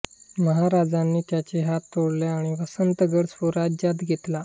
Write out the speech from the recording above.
महाराजांनी त्याचे हात तोडले आणि वसंतगड स्वराज्यात घेतला